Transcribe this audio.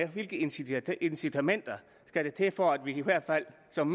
hvilke incitamenter incitamenter skal der til for at vi i hvert fald som